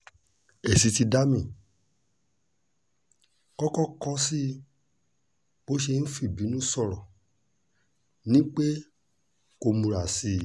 èsì tí dami kọ́kọ́ kọ sí i bó ṣe ń fìbínú sọ̀rọ̀ ni pé kó múra sí i